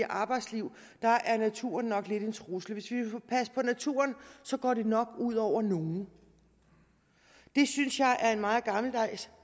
arbejdsliv er naturen nok lidt en trussel hvis vi vil passe på naturen går det nok ud over nogle det synes jeg er en meget gammeldags